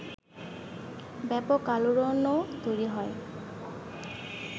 ব্যাপক আলোড়নও তৈরি হয়